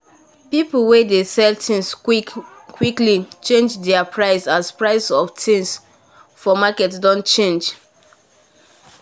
people wen dey sell things quickly change there price as price of things market doh change doh change